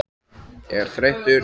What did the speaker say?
er þreyttur?